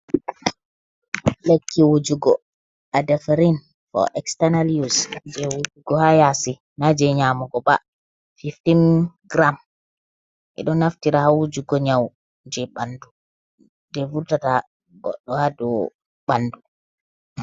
Lekki Wujugo Adefirin, fo Estanal yus, je Wujugo ha Yasi na je Nyamugo ba, Fiftin giram eɗo Naftira ha Wujugo Nyawu je Ɓandu je Vurtata Godɗo hadou Ɓandu.